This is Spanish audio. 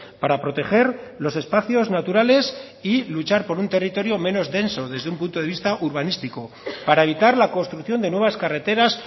para proteger los espacios naturales y luchar por un territorio menos denso desde un punto de vista urbanístico para evitar la construcción de nuevas carreteras